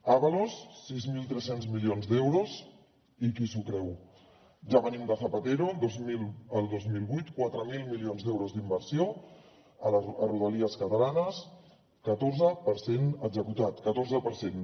ábalos sis mil tres cents milions d’euros i qui s’ho creu ja venim de zapatero el dos mil vuit quatre mil milions d’euros d’inversió a rodalies catalanes catorze per cent executat catorze per cent